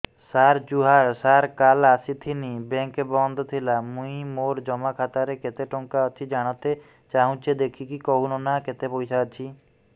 ସାର ଜୁହାର ସାର କାଲ ଆସିଥିନି ବେଙ୍କ ବନ୍ଦ ଥିଲା ମୁଇଁ ମୋର ଜମା ଖାତାରେ କେତେ ଟଙ୍କା ଅଛି ଜାଣତେ ଚାହୁଁଛେ ଦେଖିକି କହୁନ ନା କେତ ପଇସା ଅଛି